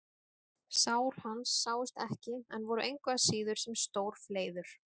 Sár hans sáust ekki en voru engu að síður sem stór fleiður.